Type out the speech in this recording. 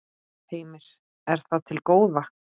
Heimir: Er það til góða?